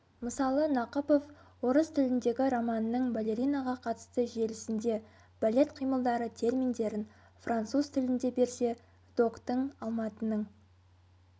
мысалы нақыпов орыс тіліндегі романның балеринаға қатысты желісінде балет қимылдары терминдерін француз тілінде берсе доктың алматының